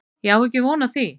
Ég á ekki von á því